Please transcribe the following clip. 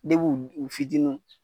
Deb'u u fitininw